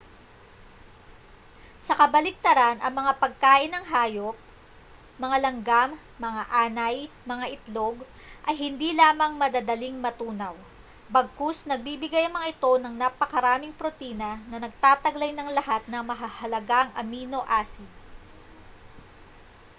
sa kabaligtaran ang mga pagkain ng hayop mga langgam mga anay mga itlog ay hindi lamang madadaling matunaw bagkus nagbibigay ang mga ito ng napakaraming protina na nagtataglay ng lahat ng mahahalagang amino acid